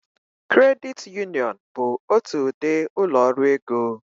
Kredit Uniọn bụ otu ụdị ụlọ ọrụ ego.